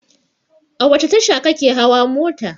A wace tasha ka ke hawa mota?